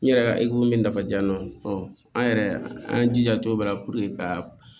N yɛrɛ ka min nafajan an yɛrɛ an y'an jija cogo bɛɛ la ka